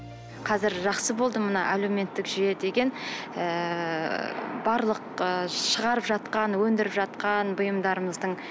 қазір жақсы болды мына әлеуметтік жүйе деген ыыы барлық ы шығарып жатқан өндіріп жатқан бұйымдарымыздың